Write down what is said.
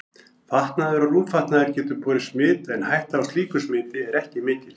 Fatnaður og rúmfatnaður getur borið smit en hætta á slíku smiti er ekki mikil.